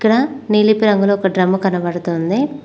ఇక్కడ నిలిపి రంగులో ఒక డ్రమ్ము కనబడుతోంది.